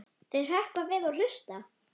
Þau hrökkva við og hlusta.